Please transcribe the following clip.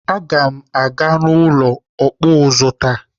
Aga m na-aga n'ụlọ ọkpụ ụzụ taa.